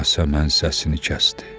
Yasəmən səsini kəsdi.